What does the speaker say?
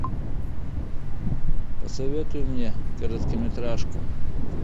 посоветуй мне короткометражку